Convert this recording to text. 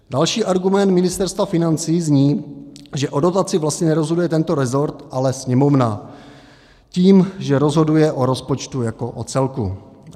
Další argument Ministerstva financí zní, že o dotaci vlastně nerozhoduje tento rezort, ale Sněmovna tím, že rozhoduje o rozpočtu jako o celku.